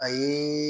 A ye